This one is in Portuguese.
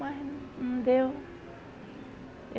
Mas não não deu.